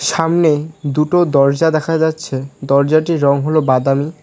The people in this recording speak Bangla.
সামনে দুটো দরজা দেখা যাচ্ছে দরজাটির রঙ হল বাদামী।